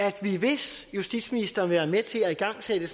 at vi hvis justitsministeren vil være med til at igangsætte